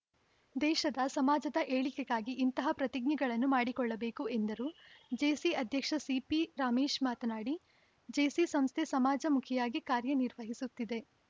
ದೇಶದ ಸಮಾಜದ ಏಳಿಗೆಗಾಗಿ ಇಂತಹ ಪ್ರತಿಜ್ಞೆಗಳನ್ನು ಮಾಡಿಕೊಳ್ಳಬೇಕು ಎಂದರು ಜೇಸಿ ಅಧ್ಯಕ್ಷ ಸಿಪಿ ರಮೇಶ್‌ ಮಾತನಾಡಿ ಜೇಸಿ ಸಂಸ್ಥೆ ಸಮಾಜಮುಖಿಯಾಗಿ ಕಾರ್ಯನಿರ್ವಹಿಸುತ್ತಿದೆ